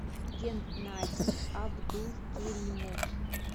геннадий абдулкеримов